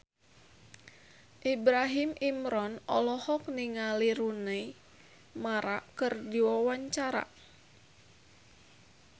Ibrahim Imran olohok ningali Rooney Mara keur diwawancara